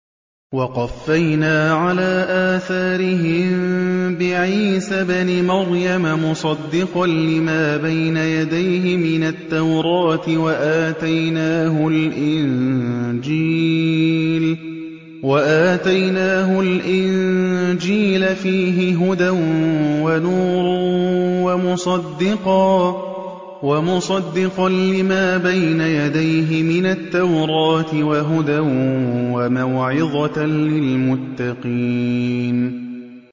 وَقَفَّيْنَا عَلَىٰ آثَارِهِم بِعِيسَى ابْنِ مَرْيَمَ مُصَدِّقًا لِّمَا بَيْنَ يَدَيْهِ مِنَ التَّوْرَاةِ ۖ وَآتَيْنَاهُ الْإِنجِيلَ فِيهِ هُدًى وَنُورٌ وَمُصَدِّقًا لِّمَا بَيْنَ يَدَيْهِ مِنَ التَّوْرَاةِ وَهُدًى وَمَوْعِظَةً لِّلْمُتَّقِينَ